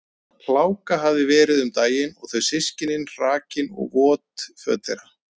Hláka hafði verið um daginn og þau systkinin hrakin og vot föt þeirra.